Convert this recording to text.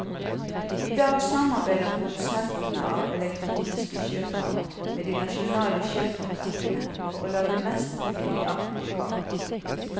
I dag samarbeider produsentene av elektroniske sjøkart med de nasjonale sjøkartverkene for å lage mest mulig nøyaktige kart.